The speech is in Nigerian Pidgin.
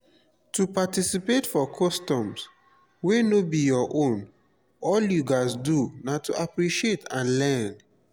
to participate for customs wey no be your own all you gats do na to appreciate and learn